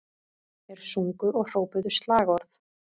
Þeir sungu og hrópuðu slagorð